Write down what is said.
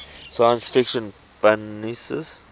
science fiction fanzines